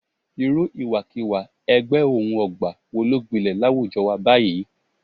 Irú ìwàkiwà ẹgbẹ́-òun-ọ̀gbà wo ló gbilẹ̀ láwùjọ wa báyìí